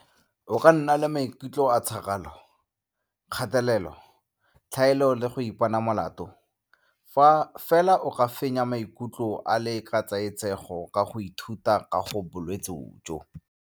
O ka nna le maikutlo a tšhakgalo, kgatelelo, tlhaelo le go ipona molato, fela o ka fenya maikutlo a le ketsaetsego ka go ithuta ka ga bolwetse jo.